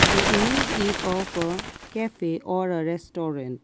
the image is of cafe are a restaurant.